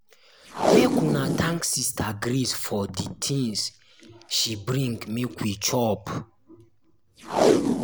make una thank sister grace for the things she bring make we chop.